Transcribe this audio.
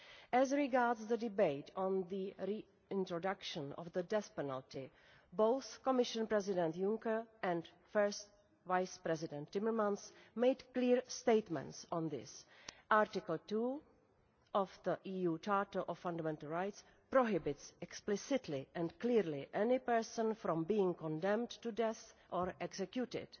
As regards the debate on the reintroduction of the death penalty, both Commission President Juncker and First Vice President Timmermans made clear statements on this Article 2 of the EU Charter of Fundamental Rights prohibits explicitly and clearly any person from being condemned to death, or executed.